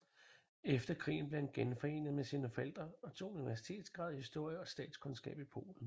Efter krigen blev han genforenet med sine forældre og tog en universitetsgrad i historie og statskundskab i Polen